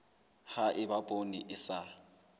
ha eba poone e sa